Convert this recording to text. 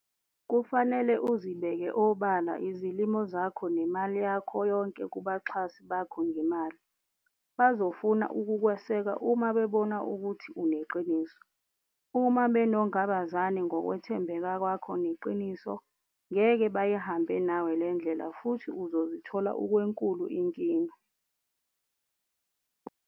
Kufanele uzibeke obala izilimo zakho nemali yakho yonke kubaxhasi bakho ngemali - bazofuna ukukweseka uma bebona ukuthi uneqiniso. Uma benongabazane ngokwethembeka kwakho neqiniso, ngeke bayihambe nawe le ndlela futhi uzozithola ukwenkulu inkinga.